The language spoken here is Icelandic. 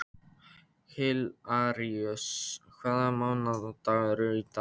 Hilaríus, hvaða mánaðardagur er í dag?